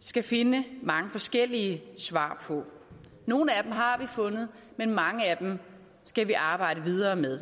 skal finde mange forskellige svar på nogle af dem har vi fundet men mange af dem skal vi arbejde videre med